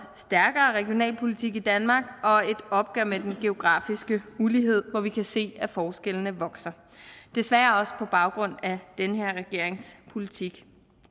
stærkere regionalpolitik i danmark og et opgør med den geografiske ulighed hvor vi kan se at forskellene vokser desværre også på baggrund af den her regerings politik